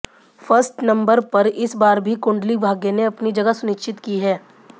first number पर इस बार भी कुंडली भाग्य ने अपनी जगह सुनिश्चित की है